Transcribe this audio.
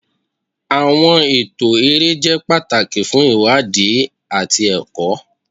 Awọn ẹtọ ere jẹ pataki fun iwadi ati ẹkọ.